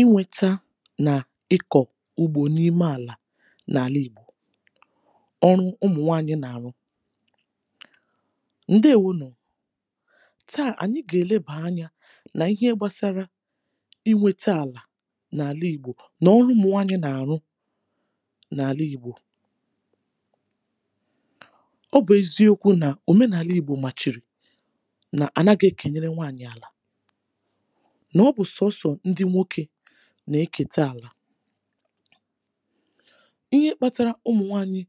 inwēta nà ịkọ̀ ugbō n’ime àlà n’àla Ìgbò. ọrụ ụmụ̀ nwanyị nà àrụ. ndeewo nù. tà, ànyị gà èlebà any anà ihe gbasara I nwete àlà nà àla Ìgbo, nà ọrụ ụmụ̀ nwanyị nà àrụ n’àla Ìgbò. ọ bụ̀ eziokwu nà òmenàla Ìgbò màchìrì nà ànaghị e kènyere nwanyị̀ àlà, nà ọ bụ̀ sọ̀ọsọ̀ ndị nwokē nà eketa àlà. ihe kpatara ụmụ̀ nwanyi,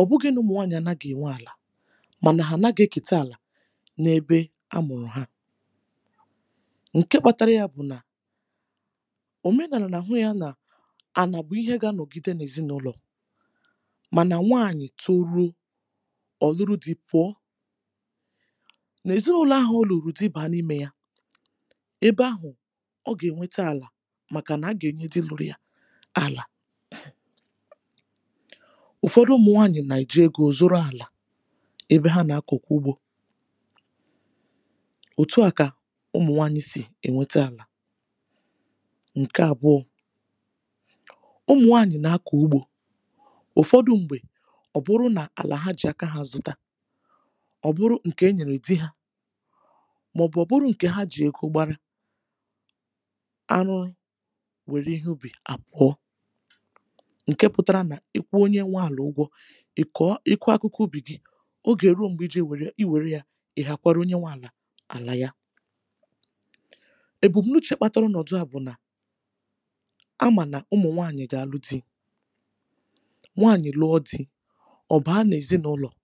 ọ̀ bụghị̄ nà ụmụ̀ nwanyị̀ à naghị̄ ènwe àlà, mànà hà ànaghị ekète àlà n’ebe a mụ̀rụ ha. ǹke kpatara ya bụ̀ nà, òmenàlà nà àhụ yā nà ànà bụ̀ ịhẹ ga anọ̀gide n’èzịnụlọ̀, mànà nwanyị toruo, ọ̀ nuru dị̄ pụ̀ọ. n’èzịnụlọ ahụ̀ ọ nụ̀rụ̀ dị bànya n’imē ya, ebe ahụ̀, ọ gà ènwete àlà, màkà nà a gà èrutewuru ya àlà. ụ̀fọdụ ụmụ̀ nwànyị nà èji egō zụrụ àlà, ebe ha nà akọ̀kwa ugbō. òtu à kà ụmụ̀ nwanyị sì ẹ̀̀nwẹta àlà. ǹkẹ àbụọ, ụmụ̀ nwanyị̀ nà akọ̀ ugbō. ụ̀fọdụ m̀gbè, ọ bụ nà àlà ha jì aka ha zụta, ọ̀ bụrụ ǹkè e nyèrè dị ha, mà ọ̀ bụ̀ ọ̀ bụrụ ǹkè ha jì ego gbara. arụa, wèrè ihe ubì a kụọ, ǹkẹ pụtara nà ị kwụọ onye nwẹ àlà ụgwọ, ị kụọ akụkụ ubì, ogè ruo m̀gbè I jì e wère ya, ị̀ hàkwara onye nwẹ̄ àlà àla ya. èbùmnuchē kpatara ọnọ̀du à bụ̀ nà a mà nàụmụ̀ nwanyị gà àlụ dị̄. nwanyị lụọ di, ọ̀ ba n’èzịnụlo,̀.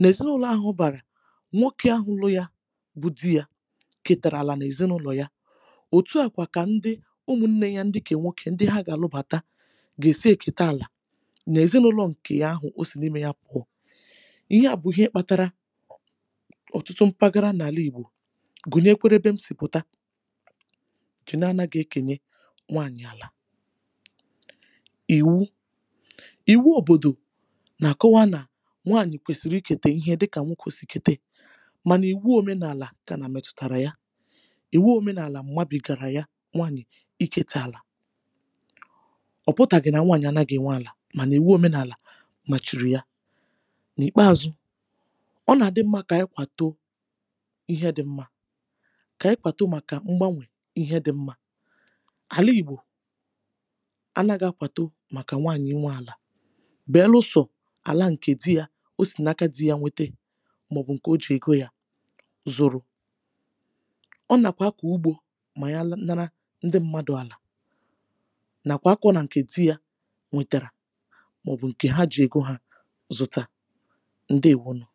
n’èzịnụlọ̀ ahụ̀ ọ bàrà, nwokē ahụ lụ ya bụ dị ya, kètàrà àlà n’èzịnụlọ̀ ya. òtù à kà ụmụnnẹ ya ǹkẹ̀ ụmụ̀ nwokē, ndị ha gà àlụbàtà, gà è si è kèta àlà. n’èzịnụlọ̀ ǹke o sì n’imē ya pụ̀ọ, ịhẹ à bụ̀ ịhe kpatara ọ̀tụtụ mkpagara n’àla ìgbò, gùnyekwere ẹbẹ m sì pụ̀ta, na anaghị e kènye nwanyị̀ àlà. ìwu. ìwu òbòdò nà àkọwa nà nwanyị kwèsìrì ị kètè ihe dị kà nwokē sì kètè, mànà ìwu òmenàlà kànà mètùtàrà ya. ìwu òmenàlà, mmadù kàrà ya nwanyị ị kètè àlà. ọ̀ pụtàghị̀ nà nwanyị̀ ànaghị ènwe àlà, mànà ìwu òmenàlà nọ̀chìrì ya. n’ìkpeazu, ọ nà àdị mmā kà anyị kwàtụ ihe dị mmā. kà anyị kwàtụ màkà mgbanwè ihe dị mmā. àla ìgbò anaghị akwàtụ màkà nwanyị ịnwē àlà, beluso àla ǹkè dị yā, o sì n’aka dị ya nwete, mà ọ̀ bụ ǹkè o jìrì ego ya zụrụ. ọ nàkwà akọ̀ ugbō mà ya natara ndị mmadù àlà, nàkwà akọ̄ nà ǹkẹ dị ya nwètàrà, mà ọ̀ bụ̀ ǹkè ha jì ego ha zụrụ. ǹdèwo nụ̀.